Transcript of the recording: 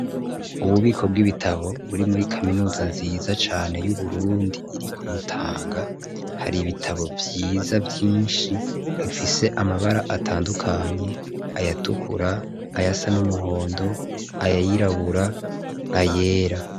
Ububiko bw'ibitabo buri muri kaminuza nziza cane y'Uburundi iri ku Mutanga, har' ibitabo vyiza vyinshi bifise amabara atandukanye, ayatukura ,ayasa n'umuhondo ayirabura ,ayera.